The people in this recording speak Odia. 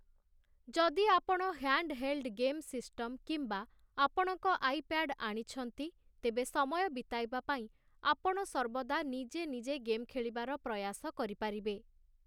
ଯଦି ଆପଣ ହ୍ୟାଣ୍ଡହେଲ୍ଡ ଗେମ୍ ସିଷ୍ଟମ କିମ୍ବା ଆପଣଙ୍କ ଆଇପ୍ୟାଡ ଆଣିଛନ୍ତି, ତେବେ ସମୟ ବିତାଇବା ପାଇଁ ଆପଣ ସର୍ବଦା ନିଜେ ନିଜେ ଗେମ୍ ଖେଳିବାର ପ୍ରୟାସ କରିପାରିବେ ।